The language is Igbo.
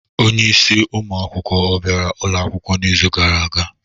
Onye isi ụmụ akwụkwọ ọ bịara ụlọ akwụkwọ n'izu gara aga?